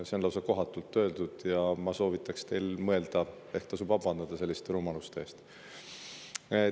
See oli lausa kohatult öeldud ja ma soovitan teil mõelda, et ehk tasub selliste rumaluste eest vabandada.